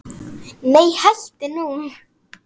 Nei hættu nú!